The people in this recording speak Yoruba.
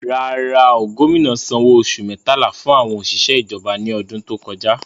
Rárá, gómìnà sanwó oṣù mẹ́tàlá fún àwọn òṣìṣẹ́ ìjọba ní ọdún tó kọjá.